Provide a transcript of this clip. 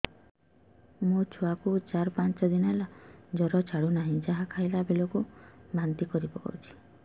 ମୋ ଛୁଆ କୁ ଚାର ପାଞ୍ଚ ଦିନ ହେଲା ଜର ଛାଡୁ ନାହିଁ ଯାହା ଖାଇଲା ବେଳକୁ ବାନ୍ତି କରି ପକଉଛି